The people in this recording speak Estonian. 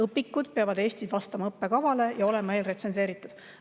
Õpikud peavad Eestis vastama õppekavale ja olema eelretsenseeritud.